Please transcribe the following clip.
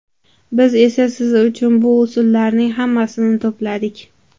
Biz esa siz uchun bu usullarning hammasini to‘pladik!